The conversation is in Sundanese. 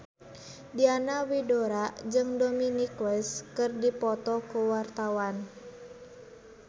Diana Widoera jeung Dominic West keur dipoto ku wartawan